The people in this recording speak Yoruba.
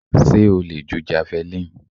Sé o le ju javelin?